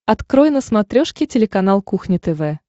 открой на смотрешке телеканал кухня тв